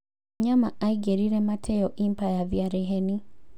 Wanyama aingĩrire Mateo Impa ya Thiarĩ Heni.